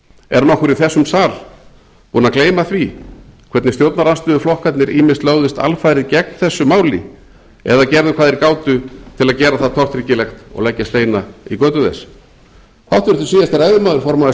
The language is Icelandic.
er nokkur í þessum sal búinn að gleyma því hvernig stjórnarandstöðuflokkarnir ýmist lögðust alfarið gegn þessu máli eða gerðu hvað þeir gátu til að gera það tortryggilegt og leggja steina í götu þess háttvirtur síðasti ræðumaður formaður